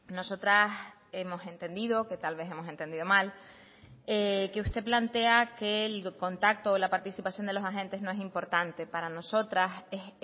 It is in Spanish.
nosotras hemos entendido que tal vez hemos entendido mal que usted plantea que el contacto o la participación de los agentes no es importante para nosotras es